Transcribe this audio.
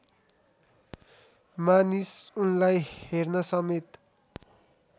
मानिस उनलाई हेर्नसमेत